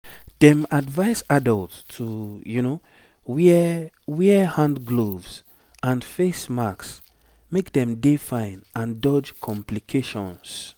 dem advise adults to wear wear hand gloves and face masks make dey fine and dodge complications